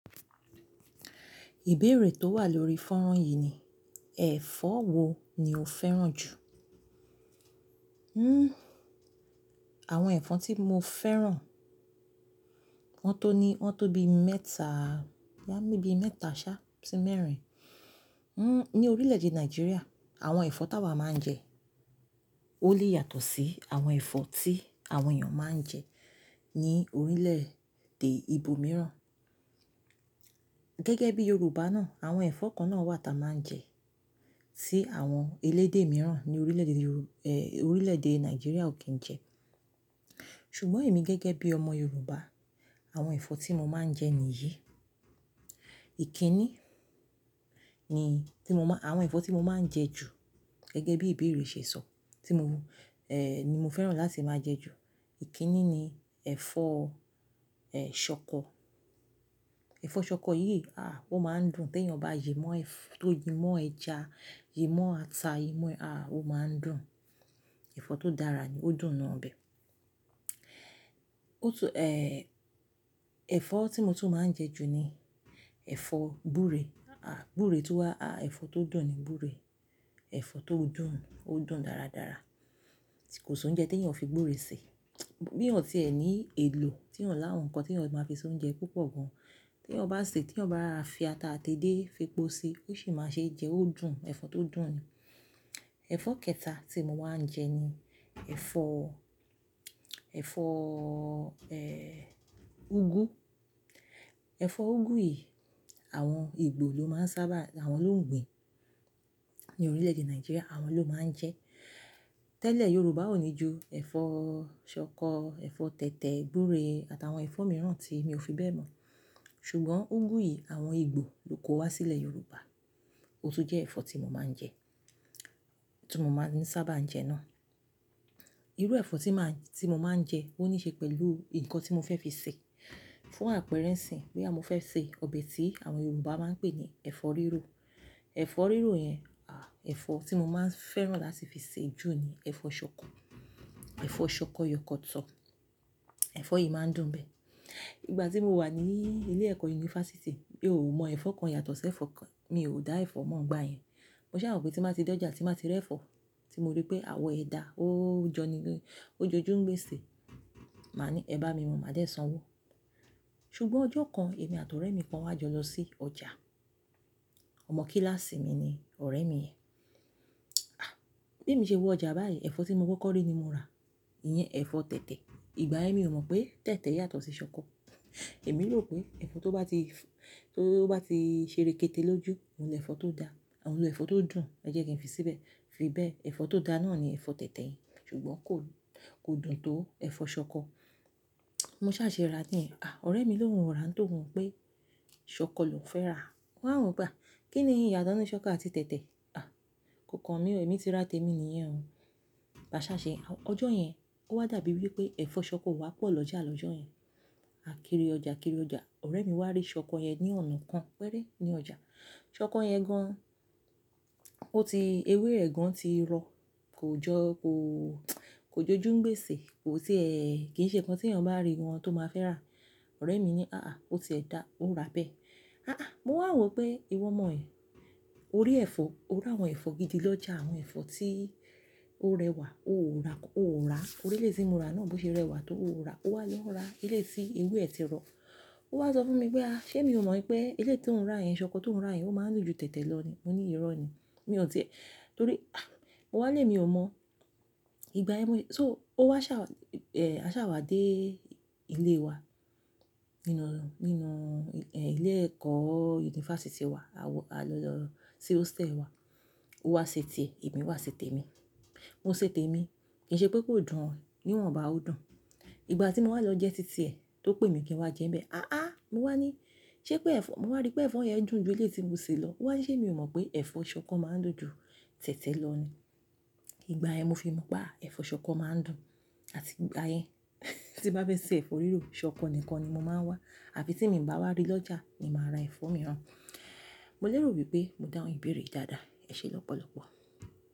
Ìbéèrè tó wà lórí fọ́nrán yìí ni ẹ̀fọ́ wo ni o fẹ́ràn jù? Hmm, àwọn ẹ̀fọ́ tí mo fẹ́ràn, wọ́n tó ní, wọ́n tó bí mẹ́ta, bí mẹ́ta, ṣá, sí mẹ́rin. Hmm, ní orílẹ̀-èdè Nàìjíríà, àwọn ẹ̀fọ́ táa wa máa ń jẹ, ó lè yàtọ̀ sí àwọn ẹ̀fọ́ tí àwọn èèyàn máa ń jẹ ní orílẹ̀-èdè ibòmíràn. Gẹ́gẹ́ bí Yorùbá náà, àwọn ẹ̀fọ́ kan náà wà táa máa ń jẹ, tí àwọn elédè mìíràn ní orílẹ̀-èdè, eeh, orílẹ̀-èdè Nàìjíríà ò kí ń jẹ. Ṣùgbọ́n èmi gẹ́gẹ́ bí ọmọ Yorùbá, àwọn ẹ̀fọ́ tí mo máa ń jẹ ni yìí. Ìkíni ni tí mo máa, àwọn ẹ̀fọ́ tí mo máa ń jẹ ju gẹ́gẹ́ bí ìbéèrè ṣe sọ tí mo, eh, ni mo fẹ́ràn láti máa jẹ ju, ìkíni ni ẹ̀fọ́, eh, ṣọkọ. Ẹ̀fọ́ ṣọkọ yìí, àh, ó máa ń dùn tí èèyàn bá yi mọ́ ẹ, tó yi mọ́ ẹja, yi mọ́ ata, yi mọ́, àh, ó máa ń dùn. Ẹ̀fọ́ tó dára ni, ó dùn nu obẹ́. Ó tún, eh, ẹ̀fọ́ tí mo tún máa ń jẹ ju ni ẹ̀fọ́ gúre, àh, gure tó wà, àh, ẹ̀fọ́ tó dùn ni gúre. Ẹ̀fọ́ tó dùn, ó dùn dáradára. Kò sí oúnjẹ tí èèyàn ò fi gúre ṣe. Bí èèyàn tí ẹ ní èlò tí èèyàn ńlá ohun kan tí èèyàn máa fi ṣe oúnjẹ púpọ̀ gan-an, tí èèyàn bá sè é, tí èèyàn bá fi ata àti edé fi po si, ó sì máa ṣe jẹ, ó dùn, ẹ̀fọ́ tó dùn ni. Ẹ̀fọ́ kẹta tí mo máa ń jẹ ni ẹ̀fọ́, ẹ̀fọ́, eh, úgú. Ẹ̀fọ́ úgú yìí, àwọn ìgbò ló máa ń sábà, àwọn lògbìn ní orílẹ̀-èdè Nàìjíríà àwọn ló máa ń jẹ. Tẹ́lẹ̀ Yorùbá ò ní ju ẹ̀fọ́ ṣọkọ, ẹ̀fọ́ tẹ̀tẹ̀, gúre àtàwọn ẹ̀fọ́ mìíràn tí èmi ò fi bẹ́ẹ̀ mọ̀. Ṣùgbọ́n úgú yìí àwọn ìgbò ló kó wá sílẹ̀ Yorùbá. Ó tún jẹ́ ẹ̀fọ́ tí mo máa ń jẹ, tí mo máa ń sábà jẹ náà. Irú ẹ̀fọ́ tí màá, tí mo máa ń jẹ ó níí ṣe pẹ̀lú nǹkan tí mo fẹ́ fi sè. Fún àpérẹ́ sìn, bí a mo fẹ́ sè ọbẹ̀ tí àwọn Yorùbá máa ń pè ní ẹ̀fọ́ rírò. Ẹ̀fọ́ rírò yẹn, àh, ẹ̀fọ́ tí mo máa ń fẹ́ràn láti fi sè ju ni ẹ̀fọ́ ṣọkọ. Ẹ̀fọ́ ṣọkọ yọkọtọ, ẹ̀fọ́ yìí máa ń dùn bẹ́ẹ̀. Ìgbà tí mo wà ní ilé-ẹ̀kọ́ yunifásítì, mi ò mọ ẹ̀fọ́ kan yàtọ̀ sí ẹ̀fọ́ kan, mi ò dá ẹ̀fọ́ mọ̀ ọgbàáyàn. Mo ṣàwopé tí màá ti dòjà, tí màá ti rẹ́ ẹ̀fọ́ tí mo rí pé àwọ̀ ẹ da, ó jọni, ó jojú ń gbèsè, màá ní "ẹ bá mi mu, màá dé sanwó". Ṣùgbọ́n ọjọ́ kan èmi àti ọ̀rẹ́ mi kan wá jọ lọ sí ọjà. Ọmọ kíláàsì mi ni ọ̀rẹ́ mi yẹn. Àh, bí mo ṣe wo ọjà báyìí, ẹ̀fọ́ tí mo gbọ́ kọ́rí ni mo rà, iyẹn ẹ̀fọ́ tẹ̀tẹ̀. Ìgbà yen mi ò mọ̀ pé tẹ̀tẹ̀ yàtọ̀ sí ṣọkọ. Èmi rò pé ẹ̀fọ́ tó bá ti, tó bá ti ṣeré kéte lójú, òun ni ẹ̀fọ́ tó da, àwọn ló ẹ̀fọ́ tó dùn, ẹ jẹ́ kí n fi síbẹ̀. Fi bẹ́ẹ̀, ẹ̀fọ́ tó da náà ni ẹ̀fọ́ tẹ̀tẹ̀ yen, ṣùgbọ́n kò, kò dùn tó ẹ̀fọ́ ṣọkọ. Mo ṣà ṣe rà ní, àh, ọ̀rẹ́ mi ló hun rà án tò wọ̀n pé ṣọkọ ló fẹ́ rà. Ó wà eo pe a. Kí ni ìyàto ní ṣọkọ àti tẹ̀tẹ̀? Àh, kokan mi oo, ẹ̀mí ti rà tèmi nìyẹn o. Màá ṣà ṣe, ọjọ́ yẹn ó wá dàbí wí pé ẹ̀fọ́ ṣọkọ wá pọ̀ lọ́jà lọ́jọ́ yẹn. A kiri ọjà kiri ọjà, ọ̀rẹ́ mi wá rí ṣọkọ yẹn ní ọ̀nà kan pẹ́rẹ́ ní ọjà. Ṣọkọ yẹn gan, ó ti, ewé ẹ gan ti rọ, kò jọ, kò, kò jojú ń gbèsè, kò sí ẹ, kì í ṣe nǹkan tí èèyàn bá rí wọn tó máa fẹ́ rà. Ọ̀rẹ́ mi ní "àá" ó ti ẹ dá, ó rà bẹ́ẹ̀. Àá, mo wà ò pé ìwọ mọ̀ ẹ̀, o rí ẹ̀fọ́, o rí àwọn ẹ̀fọ́ gidi lọ́jà, àwọn ẹ̀fọ́ tí ó rẹwà, o ò ra, o ò rà. Orí ilé tí mo rà náà bó ṣe rẹwà tó o ò ra, o wá lọ rà ilé tí ewé ẹ ti rọ. Ó wá sọ fún mi pé "àh, ṣé mi ò mọ̀ pé ilé tí ò ń rà yẹn, ṣọkọ tí ò ń rà yẹn ó máa ń dun jù tẹ̀tẹ̀ lọ ni?" Mo ní ìrọ́ ni. Mi ò di ẹ, torí, àh, mo wà lé mi ò mọ̀. Ìgbà ẹ mi, so ó wá sa eh, a ṣàwà dé ilé wa nínú, nínú, eh, ilé-ẹ̀kọ́ yunifásítì wa, a wọ, a lọ lọ sí hostel wa. Ó wá ṣe tè ẹ, èmi wá ṣe tè mi. Mo ṣe tè mi, kì í ṣe pé kò dùn ọ, níwọn bá ò dùn. Ìgbà tí mo wá lọ jẹ títí ẹ, tó pè mi kí n wá jẹ bẹ́ẹ̀. Àá aa mo wá ní "ṣé pé ẹ̀fọ́", mo wá rí pé ẹ̀fọ́ yẹn dùn ju ilé tí mo sè lọ. Ó wá ń ṣe mi ò mọ̀ pé ẹ̀fọ́ ṣọkọ máa ń dùn ju tẹ̀tẹ̀ lọ ni. Ìgbà ẹ mi fi mọ̀ pé àh, ẹ̀fọ́ ṣọkọ máa ń dùn. Àti ìgbà yẹn, tí n bá fẹ́ sè ẹ̀fọ́ rírò, ṣọkọ nìkan ni mo máa ń wá. Àfi tí mi ń bá wá rí lọ́jà ni màá ra ẹ̀fọ́ mìíràn. Mo lérò wípé mo dá òun ìbéèrè yii dáadáa. Ẹ ṣe lọ́pọ̀lọ́pọ̀.